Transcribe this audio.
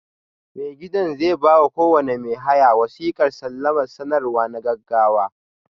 Mai gidan zai ba wa kowane mai haya wasiƙar salama sanarwa na gaggawa.